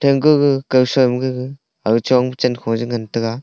aga kosuima gaga aga chongpu chaankhung eh ngantaga.